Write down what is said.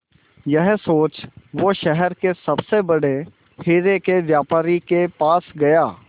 यह सोच वो शहर के सबसे बड़े हीरे के व्यापारी के पास गया